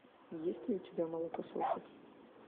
есть ли у тебя молокососы